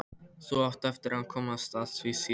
Þú átt eftir að komast að því síðar.